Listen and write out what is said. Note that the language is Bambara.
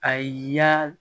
Ayi ya